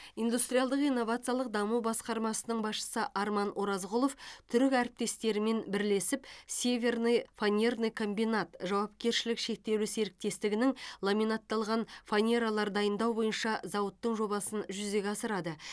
индустриалдық инновациялық даму басқармасының басшысы арман оразғұлов түрік әріптестерімен бірлесіп северный фанерный комбинат жауапкершілігі шектеулі серіктестігінің ламинатталған фанералар дайындау бойынша зауыттың жобасын жүзеге асырады